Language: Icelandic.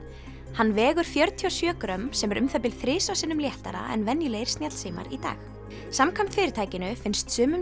hann vegur fjörutíu og sjö grömm sem er um það bil þrisvar sinnum léttara en venjulegir snjallsímar í dag samkvæmt fyrirtækinu finnst sumum